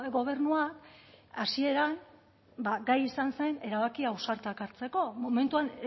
gobernua hasieran gai izan zen erabaki ausartak hartzeko momentuan